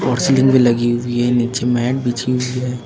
Machine भी लगी हुई है नीचे मैट बिछी हुई है।